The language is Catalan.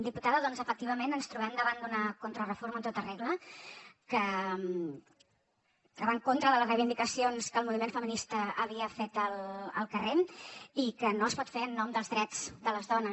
diputada efectivament ens trobem davant d’una contrareforma en tota regla que va en contra de les reivindicacions que el moviment feminista havia fet al carrer i que no es pot fer en nom dels drets de les dones